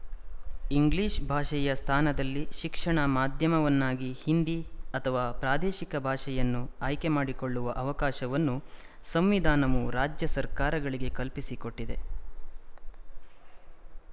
English ಭಾಷೆಯ ಸ್ಥಾನದಲ್ಲಿ ಶಿಕ್ಷಣ ಮಾಧ್ಯಮವನ್ನಾಗಿ ಹಿಂದಿ ಅಥವಾ ಪ್ರಾದೇಶಿಕ ಭಾಷೆಯನ್ನು ಆಯ್ಕೆ ಮಾಡಿಕೊಳ್ಳುವ ಅವಕಾಶವನ್ನು ಸಂವಿಧಾನವು ರಾಜ್ಯಸರ್ಕಾರಗಳಿಗೆ ಕಲ್ಪಿಸಿಕೊಟ್ಟಿದೆ